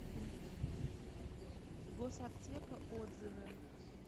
госаптека отзывы